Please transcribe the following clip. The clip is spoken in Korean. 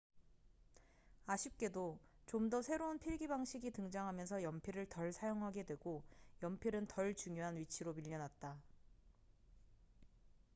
아쉽게도 좀 더 새로운 필기 방식이 등장하면서 연필을 덜 사용하게 되고 연필은 덜 중요한 위치로 밀려났다